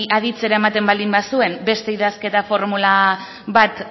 aditzera ematen baldin bazuen beste idazkera formula bat